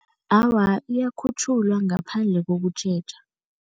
Awa, iyakhutjhulwa ngaphandle kokutjheja.